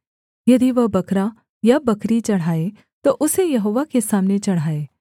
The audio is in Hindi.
यदि वह बकरा या बकरी चढ़ाए तो उसे यहोवा के सामने चढ़ाए